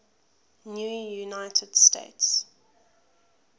new united states